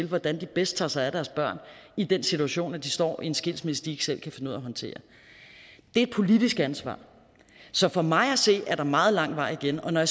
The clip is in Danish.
hvordan de bedst tager sig af deres børn i den situation hvor de står i en skilsmisse de ikke selv kan finde ud af at håndtere det er et politisk ansvar så for mig at se er der meget lang vej igen og når